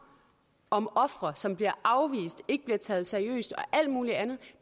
om ofre som bliver afvist ikke bliver taget seriøst og alt mulig andet